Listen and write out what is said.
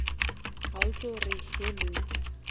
ga o tlo re hello